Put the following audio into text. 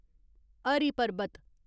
हरी पर्बत